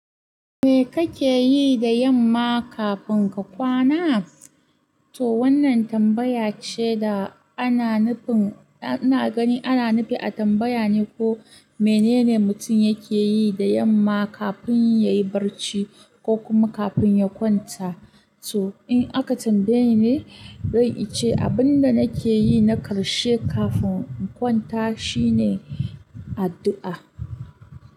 Me kake yi da yamma kafin ka kwana? To wannan tambaya ce da ana nufin ana gani ana nufi a tambaya ne ko menene mutum yake yi da yamma kafin yayi barci ko kuma kafin ya kwanta. To in aka tambaye ni, rai ice abin da nake yi na karshe kafin in kwanta shine addu'a.